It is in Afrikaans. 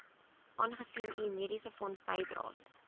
aangesien u mediesefondsbydraes